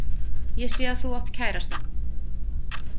Ég sé að þú átt kærasta.